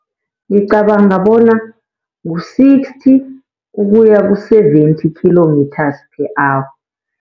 Ngicabanga bona ngu-sixty ukuya ku-seventy kilometers per hour.